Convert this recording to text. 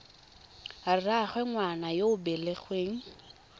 rraagwe ngwana yo o belegweng